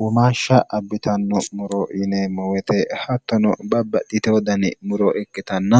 uumaashsha abbitanno muro yineemmo weyte hattono babbadhite wodani muro ikkitanna